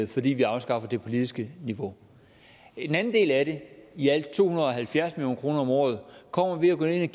fordi vi afskaffer det politiske niveau en anden del af det i alt to hundrede og halvfjerds million kroner om året kommer ved at gå ind